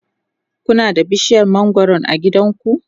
Kuna da bishiyar mangwaro a gidanku?